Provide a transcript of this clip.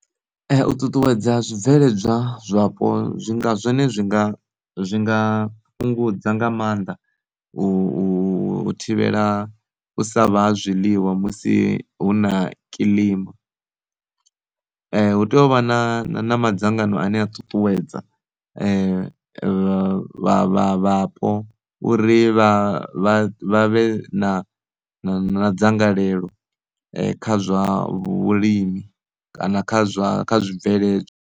U ṱuṱuwedza zwi bveledzwa zwapo zwi nga zwone zwi nga zwi nga fhungudza nga maanḓa u u thivhela u sa vha na zwiḽiwa musi hu na kilima. Hu tea u vha na na madzangano ane a ṱutuwedza vha vha vhapo uri vh vha vhe na na dzangalelo kha zwa vhulimi kana kha zwa kha zwi bveledzwa.